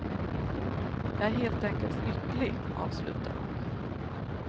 Jag är helt enkelt lycklig, avslutar hon.